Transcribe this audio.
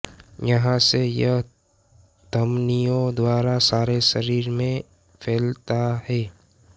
यहाँ से यह घमनियों द्वारा सारे शरीर में फैलता है